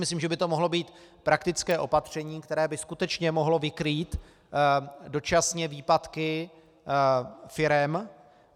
Myslím, že by to mohlo být praktické opatření, které by skutečně mohlo vykrýt dočasně výpadky firem.